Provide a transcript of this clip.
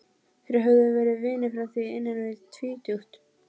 Þeir höfðu verið vinir frá því innan við tvítugt.